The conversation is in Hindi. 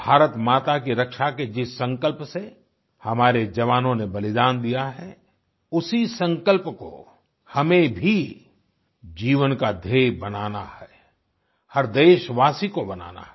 भारतमाता की रक्षा के जिस संकल्प से हमारे जवानों ने बलिदान दिया है उसी संकल्प को हमें भी जीवन का ध्येय बनाना है हर देशवासी को बनाना है